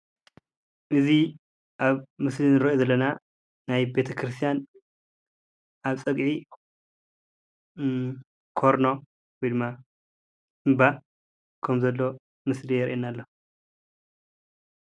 እዚ ኣብ ምስሊ እንሪኦ ዘለና ናይ ቤተክርስትያን ኣብ ፀግዒ ኮርኖ ወይ ድማ እንባ ከም ዘሎ ምስሊ የርእየና ኣሎ፡፡